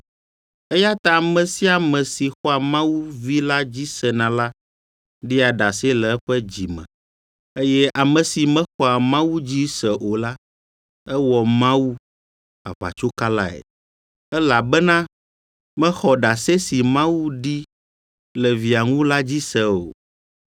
Eya ta ame sia ame si xɔa Mawu Vi la dzi sena la ɖia ɖase le eƒe dzi me. Eye ame si mexɔa Mawu dzi se o la, ewɔ Mawu aʋatsokalae, elabena mexɔ ɖase si Mawu ɖi le Via ŋu la dzi se o.